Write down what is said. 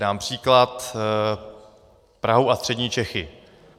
Dám příklad: Prahu a Střední Čechy.